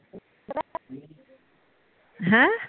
ਹੈਂ